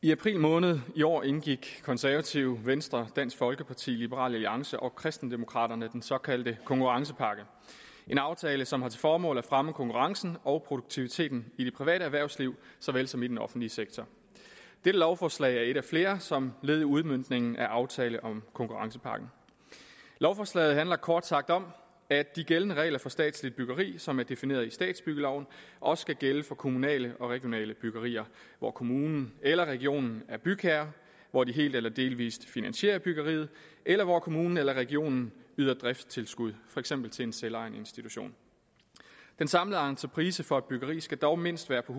i april måned i år indgik konservative venstre dansk folkeparti liberal alliance og kristendemokraterne den såkaldte konkurrencepakke en aftale som har til formål at fremme konkurrencen og produktiviteten i det private erhvervsliv såvel som i den offentlige sektor dette lovforslag er et af flere som led i udmøntningen af aftalen om konkurrencepakken lovforslaget handler kort sagt om at de gældende regler for statsligt byggeri som er defineret i statsbyggeloven også skal gælde for kommunale og regionale byggerier hvor kommunen eller regionen er bygherre hvor de helt eller delvis finansierer byggeriet eller hvor kommunen eller regionen yder driftstilskud for eksempel til en selvejende institution den samlede entreprise for et byggeri skal dog mindst være på